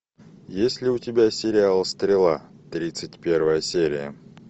есть ли у тебя сериал стрела тридцать первая серия